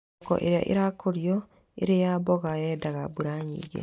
Thoroko ĩrĩa ĩrakũrio ĩrĩ ya mboga yendaga mbura nyingĩ